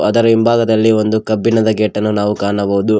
ಅದರ ಹಿಂಭಾಗದಲ್ಲಿ ಒಂದು ಕಬ್ಬಿಣದ ಗೇಟ್ ಅನ್ನು ನಾವು ಕಾಣಬಹುದು ಆ --